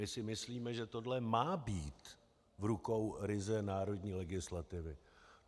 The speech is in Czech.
My si myslíme, že tohle má být v rukou ryze národní legislativy.